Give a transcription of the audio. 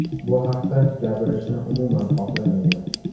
Bu haqda gapirishni umuman xohlamayman.